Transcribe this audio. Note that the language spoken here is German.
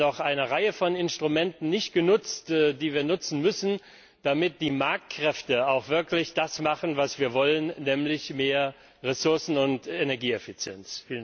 Wir haben noch eine Reihe von Instrumenten nicht genutzt, die wir nutzen müssen, damit die Marktkräfte auch wirklich das machen, was wir wollen, nämlich mehr Ressourcen und Energieeffizienz.